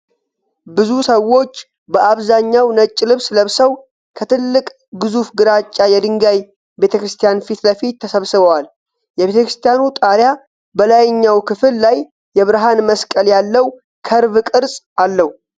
ብዙ ሰዎች በአብዛኛው ነጭ ልብስ ለብሰው፣ ከትልቅ ግዙፍ ግራጫ የድንጋይ ቤተክርስቲያን ፊት ለፊት ተሰብስበዋል። የቤተክርስቲያኑ ጣሪያ በላይኛው ክፍል ላይ የብርሃን መስቀል ያለው ከርቭ ቅርጽ አለው።